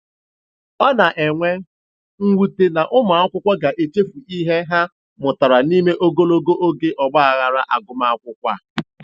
Ọ na-enwe mwute na ụmụakwụkwọ ga-echefu ihe ha mụtara n'ime ogologo oge ọgbaaghara agụmakwụkwọ a.